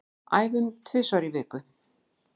Æfum tvisvar í viku